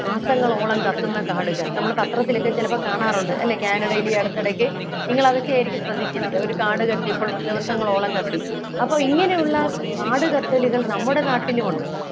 മാസങ്ങളോളം കത്തുന്ന കാടുകൾ നമ്മൾ പത്രത്തിലൊക്കെ ചെലപ്പം കാണാറുണ്ട് അല്ലെ കാനഡയിൽ ഈ അടുത്ത ഇടയ്ക്ക് നിങ്ങൾ അതൊക്കെയായിരിക്കും ശ്രദ്ധിച്ചിരിക്ക ഒരു കാടുകത്തിയപ്പോൾ ദിവസങ്ങളോളം കത്തി അപ്പൊ ഇങ്ങനെയുള്ള കാട് കത്തലുകൾ നമ്മുടെ നാട്ടിലുമുണ്ട്